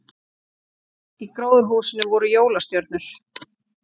Í gróðurhúsinu voru jólastjörnur